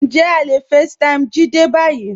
Njẹ̀ à le facetime Jídé ní báyì?